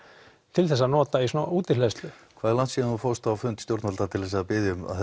til þess að nota í svona hvað er langt síðan þú fórst á fund stjórnvalda til þess að biðja um að